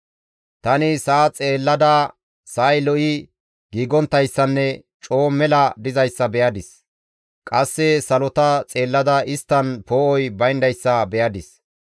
Tani sa7a xeellada sa7ay lo7i giigonttayssanne coo mela dizayssa be7adis. Qasse salota xeellada isttan poo7oy bayndayssa be7adis.